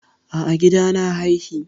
A'a, a gida na haihi.